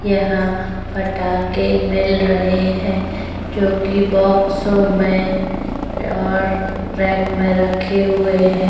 यहाँ फटाके मिल रहे है जोकि बोक्सो में और रैक में रक्खे हुए है।